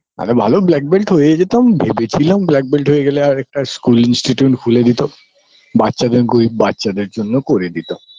এগা ভালো black belt হয়ে যেতাম ভেবেছিলাম black belt হয়ে গেলে আর একটা school institute খুলে দিতো বাচ্চাদের গোই বাচ্চাদের জন্য করে দিত